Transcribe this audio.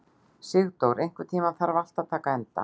Sigurdór, einhvern tímann þarf allt að taka enda.